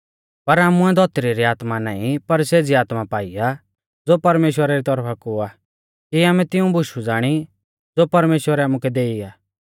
पर आमुऐ धौतरी री आत्मा नाईं पर सेज़ी आत्मा पाई आ ज़ो परमेश्‍वरा री तौरफा कु आ कि आमै तिऊं बुशु ज़ाणी ज़ो परमेश्‍वरै आमुकै देई आ